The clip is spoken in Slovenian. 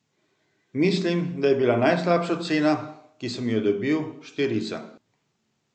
Mislim, da je bila najslabša ocena, ki sem jo dobil, štirica.